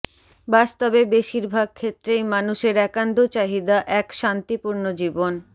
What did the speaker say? বাস্তবে বেশীরভাগ ক্ষেত্রেই মানুষের একান্ত চাহিদা এক শান্তি পূর্ণ জীবন